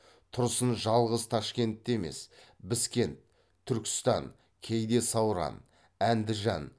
тұрсын жалғыз ташкентте емес біскент түркістан кейде сауран әндіжан